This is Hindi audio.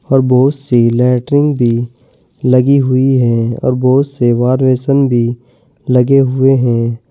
और बहुत सी लैट्रिन भी लगी हुई है और बहुत से वार बेसिन भी लगे हुए हैं।